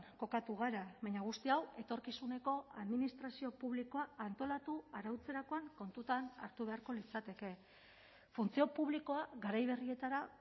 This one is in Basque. kokatu gara baina guzti hau etorkizuneko administrazio publikoa antolatu arautzerakoan kontutan hartu beharko litzateke funtzio publikoa garai berrietara